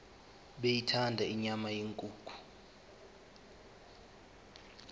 beyithanda inyama yenkukhu